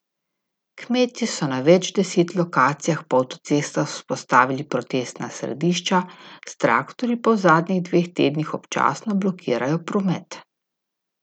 Kmetje so na več deset lokacijah po avtocestah vzpostavili protestna središča, s traktorji pa v zadnjih dveh tednih občasno blokirajo promet.